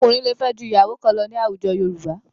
Ọkùnrin lè fẹ́ ju ìyàwó kan lọ ní àwùjọ Yorùbá.